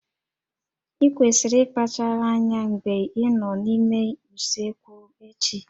Ị kwesịrị ịkpachara anya mgbe ị nọ n'ime usekwu echi